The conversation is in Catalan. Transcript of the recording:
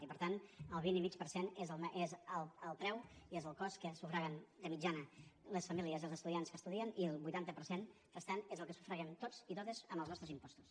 i per tant el vint i mig per cent és el preu i és el cost que sufraguen de mitjana les famílies i els estudiants que estudien i el vuitanta per cent restant és el que sufraguem tots i totes amb els nostres impostos